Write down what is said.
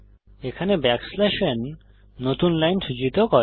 এখানে n নতুন line সূচিত করে